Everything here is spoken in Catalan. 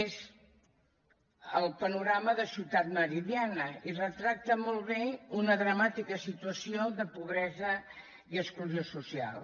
és el panorama de ciutat meridiana i retrata molt bé una dramàtica situació de pobresa i exclusió social